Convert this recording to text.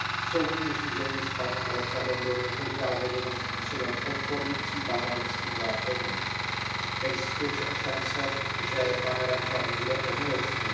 Soudní řízení s panem Radžábem bylo několikrát vedeno způsobem odporující bahrajnským zákonům. Existuje však šance, že pan Radžáb bude omilostněn.